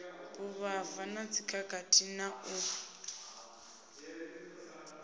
vhuvhava na dzikhakhathi na u